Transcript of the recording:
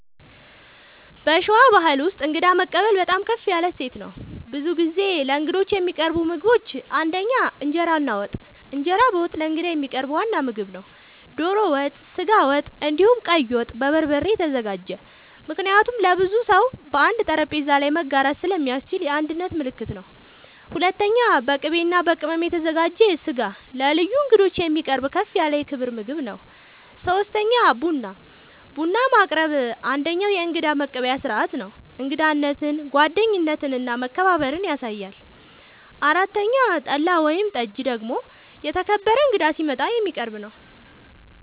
በሸዋ ባሕል ውስጥ እንግዳ መቀበል በጣም ከፍ ያለ እሴት ነው። ብዙ ጊዜ ለእንግዶች የሚቀርቡ ምግቦች ፩) እንጀራ እና ወጥ፦ እንጀራ በወጥ ለእንግዳ የሚቀርብ ዋና ምግብ ነው። ዶሮ ወጥ፣ ስጋ ወጥ፣ እንዲሁም ቀይ ወጥ( በበርበሬ የተዘጋጀ) ምክንያቱም ለብዙ ሰው በአንድ ጠረጴዛ ላይ መጋራት ስለሚያስችል የአንድነት ምልክት ነው። ፪.. በቅቤ እና በቅመም የተዘጋጀ ስጋ ለልዩ እንግዶች የሚቀርብ ከፍ ያለ የክብር ምግብ ነው። ፫. ቡና፦ ቡና ማቅረብ አንደኛዉ የእንግዳ መቀበያ ስርዓት ነው። እንግዳነትን፣ ጓደኝነትን እና መከባበርን ያሳያል። ፬ .ጠላ ወይም ጠጅ ደግሞ የተከበረ እንግዳ ሲመጣ የሚቀረብ ነዉ